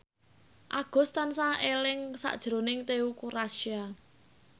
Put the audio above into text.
Agus tansah eling sakjroning Teuku Rassya